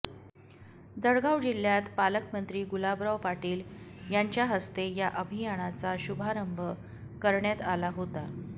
जळगाव जिल्ह्यात पालकमंत्री गुलाबराव पाटील यांच्या हस्ते या अभियानाचा शुभारंभ करण्यात आला होता